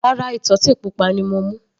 Rárá, ìtọ́tè pupa ni mo mú.